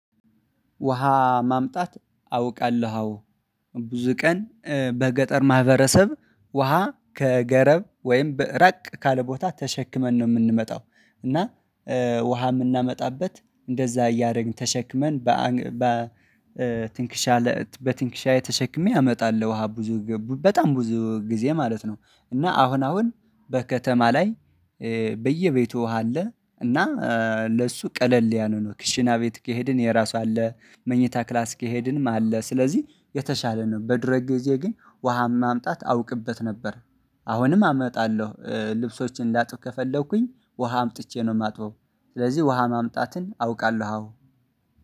ውሃ ማምጣት አውቃለሁ አዎ። ብዙ ቀን በገጠር ማህበረሰብ ውሃ ከገረብ ወይም ራቅ ካለ ቦታ ተሸክመን ነው የምንመጣው። እና ውሃ የምናመጣበት እንደዛ እያደረግን ተሸክመን በትንክሻ በትንክሻዬ ተሸክሜ አመጣለሁ ውሃ ብዙ ግዜ በጣም ብዙ ጊዜ ማለት ነው። እና አሁን አሁን በከተማ ላይ በየቤቱ ውሃ አለ። እና ለሱ ቀለል ያለነው ክሽና ቤት ከሄድን የራሱ አለ መኝታ ክላስ ከሄድንም አለ ስለዚህ የተሻለ ነው። በድሮ ጊዜ ግን ውሃ ማምጣት አውቅበት ነበር። አሁንም አመጣለሁ ልብሶቼን ላጥብ ከፈለኩኝ ውሃ አምጥቼ ነው የማጥበው። ስለዚህ ውሃ ማምጣትን አውቃለሁ አዎ